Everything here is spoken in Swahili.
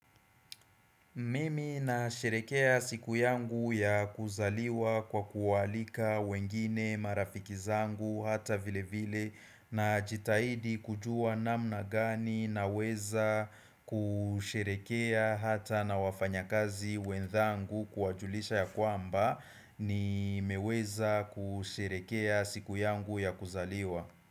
Mimi na sherehekea siku yangu ya kuzaliwa kwa kuwaalika wengine marafiki zangu hata vile vile najitahidi kujua namna gani naweza kusherehekea hata na wafanya kazi wenzangu kuwajulisha ya kwamba nimeweza kusherehekea siku yangu ya kuzaliwa.